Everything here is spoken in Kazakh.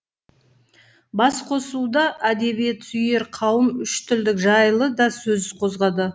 басқосуда әдебиетсүйер қауым үштілділік жайлы да сөз қозғады